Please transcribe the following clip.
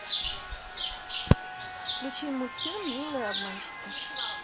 включи мультфильм милая обманщица